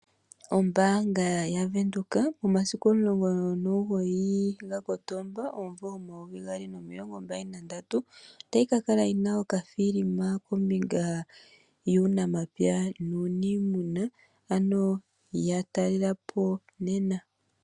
Ombaanga yaVenduka momasiku 19 Kotoba 2023 otayi ka kala yi na okafilima kombinga yuunamapya nuuniimuna, ano ya talele po nena.